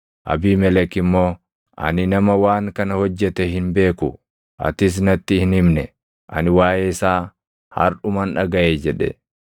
Abiimelek immoo, “Ani nama waan kana hojjete hin beeku. Atis natti hin himne; ani waaʼee isaa harʼuman dhagaʼe” jedhe.